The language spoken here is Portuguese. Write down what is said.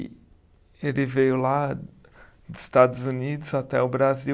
E ele veio lá dos Estados Unidos até o Brasil.